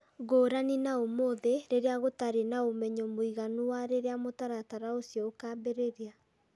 Ngũrani na ũmũthĩ rĩrĩa gũtarĩ na ũmenyo mũiganu wa rĩrĩa mũtaratara ũcio ũkaambĩrĩria.